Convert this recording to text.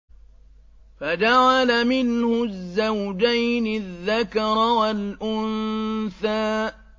فَجَعَلَ مِنْهُ الزَّوْجَيْنِ الذَّكَرَ وَالْأُنثَىٰ